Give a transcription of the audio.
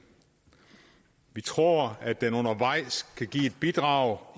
vi tror at den undervejs kan give et bidrag